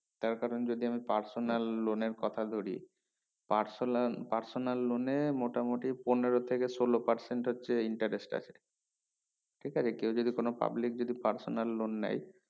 তার কারণ যদি আমি personal loan এর কথা ধরি personal personal loan এ মোটামুটি পনেরো থেকে সোলো percent হচ্ছে interest আছে ঠিক আছে কেও যদি কোনো public যদি personal loan নেই